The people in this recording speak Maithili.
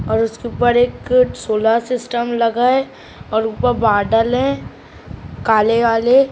--और उसके ऊपर एक सोलर सिस्टम लगा है और ऊपर बादल है काले-काले।